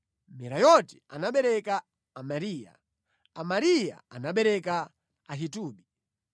Merayoti anabereka Amariya, Amariya anabereka Ahitubi.